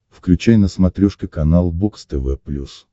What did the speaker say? включай на смотрешке канал бокс тв плюс